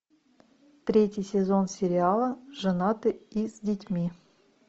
третий сезон сериала женаты и с детьми